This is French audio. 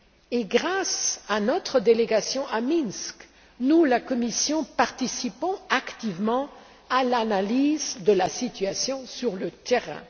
Et grâce à notre délégation à Minsk, la Commission participe activement à l'analyse de la situation sur le terrain.